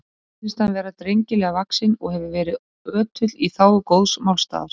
Mér sýnist hann vera drengilega vaxinn og hefur verið ötull í þágu góðs málstaðar.